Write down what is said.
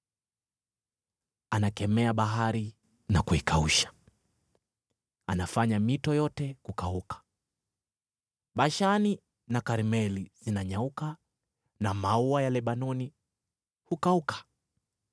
Anakemea bahari na kuikausha, anafanya mito yote kukauka. Bashani na Karmeli zinanyauka na maua ya Lebanoni hukauka.